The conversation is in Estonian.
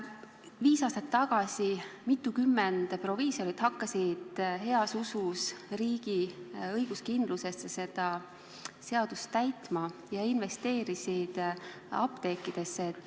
Viis aastat tagasi mitukümmend proviisorit hakkas heas usus riigi õiguskindlusesse seda seadust täitma ja investeerisid apteekidesse.